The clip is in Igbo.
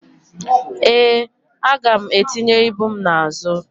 ee, aga m etinye ibu m n'azụ